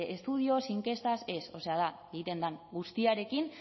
estudios inkestak ez o sea da egiten den guztiarekin